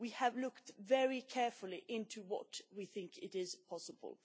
We have looked very carefully into what we think is possible.